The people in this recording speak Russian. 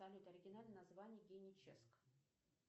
салют оригинальное название геническ